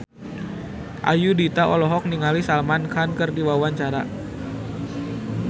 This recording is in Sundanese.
Ayudhita olohok ningali Salman Khan keur diwawancara